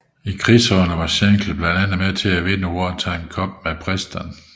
I krigsårene var Shankly blandt andet med til at vinde Wartime Cup med Preston